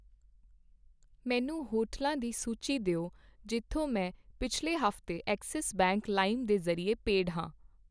ਮੈਨੂੰ ਹੋਟਲਾਂ ਦੀ ਸੂਚੀ ਦਿਓ ਜਿੱਥੋਂ ਮੈਂ ਪਿੱਛਲੇ ਹਫ਼ਤੇ ਐੱਕਸਿਸ ਬੈਂਕ ਲਾਇਮ ਦੇ ਜ਼ਰੀਏ ਪੇਡ ਹੈ